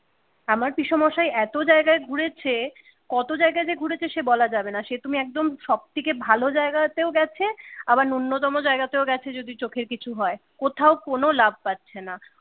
আবার পিসমস্যা এত জায়গায় ঘুরেছে কত জায়গায় যে ঘুরেছে সে বলা যাবেনা সে তুমি একদম সব থেকে ভালো জায়গা তেউ গেছে, আবার ন্যূনতম জায়গাতেও গাছে যদি চোখে কিছু হয় কোথাও কোনো লাভ পাছে না